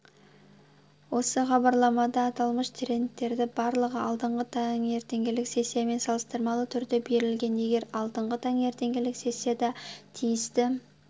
осы хабарламада аталмыш трендтердің барлығы алдыңғы таңертеңгілік сессиямен салыстырмалы түрде берілген егер алдыңғы таңертеңгілік сессияда тиісті